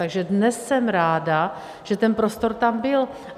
Takže dnes jsem ráda, že ten prostor tam byl.